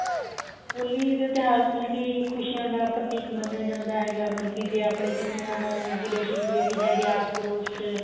ਹੋਲੀ ਦੇ ਤਿਉਹਾਰ ਨੂੰ ਮਲਕੀ ਖੁਸ਼ੀਆਂ ਦਾ ਪ੍ਰਤੀਕ ਮੰਨਿਆ ਜਾਂਦਾ ਹੈਗਾ ਮਲਕੀ ਜੇ ਆਪਣੇ ਕਿਸੇ ਨਾਲ ਗਿਲੇ ਸ਼ਿਖਵੇਂ ਵੀ ਹੈਗੇ ਆ ਆਸ ਪੜੋਸ ਚ